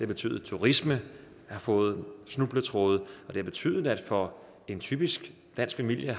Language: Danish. betydet at turismen har fået snubletråde og det har betydet at det for en typisk dansk familie